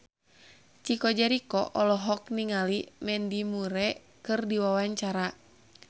Chico Jericho olohok ningali Mandy Moore keur diwawancara